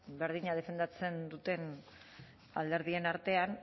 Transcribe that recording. berdina defendatzen duten alderdien artean